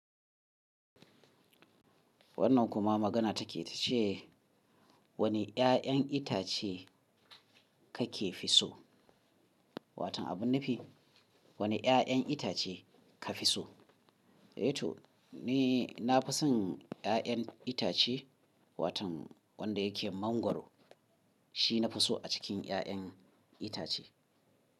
Wannan kuma magana take ta ce wane 'ya'yan itace kake fi so? Watan abun nufi, wane 'ya'yan itace ka fi so? Yato ni na fi son 'ya'yan itace, watan wanda yake mangwaro. Shi na fi so a cikin 'ya'yan itace.